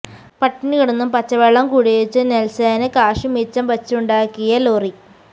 പട്ടിണി കിടന്നും പച്ചവെള്ളം കുടിച്ചും നെല്സന് കാശു മിച്ചം വച്ചുണ്ടാക്കിയ ലോറി